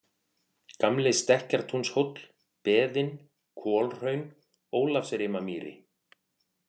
Gamli-Stekkjartúnshóll, Beðin, Kolhraun, Ólafsrimamýri